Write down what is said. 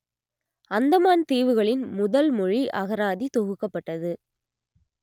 அந்தமான் தீவுகளின் முதல் மொழி அகராதி தொகுக்கப்பட்டது